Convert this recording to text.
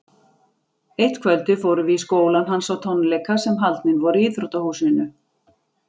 Eitt kvöldið fórum við í skólann hans á tónleika sem haldnir voru í íþróttahúsinu.